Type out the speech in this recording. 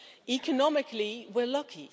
Economically we're lucky.